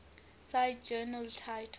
cite journal title